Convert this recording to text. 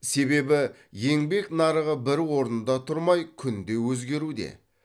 себебі еңбек нарығы бір орында тұрмай күнде өзгеруде